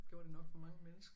Gjorde det nok for mange mennesker